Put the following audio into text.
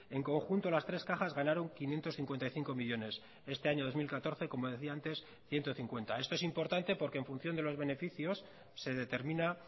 en conjunto las tres cajas ganaron quinientos cincuenta y cinco millónes este año dos mil catorce como decía antes ciento cincuenta esto es importante porque en función de los beneficios se determina